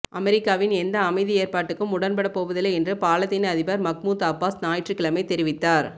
அமெரிக்காவின் எந்த அமைதி ஏற்பாட்டுக்கும் உடன்படப்போவதில்லை என்று பாலத்தீன அதிபர் மஹ்முத் அப்பாஸ் ஞாயிற்றுக்கிழமை தெரிவித்தார்